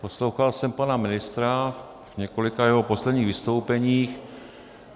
Poslouchal jsem pana ministra v několika jeho posledních vystoupeních.